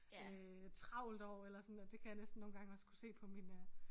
Øh travlt år eller sådan at det kan jeg næsten nogle gange også kunne se på min øh